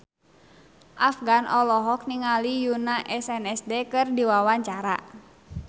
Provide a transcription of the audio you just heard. Afgan olohok ningali Yoona SNSD keur diwawancara